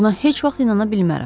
Buna heç vaxt inana bilmərəm.